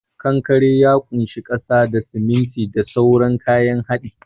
Kankare ya kunshi kasa da, siminti da sauran kayan hadi.